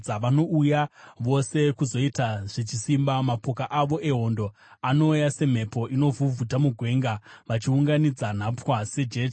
vanouya vose kuzoita zvechisimba. Mapoka avo ehondo anouya semhepo inovhuvhuta mugwenga vachiunganidza nhapwa sejecha.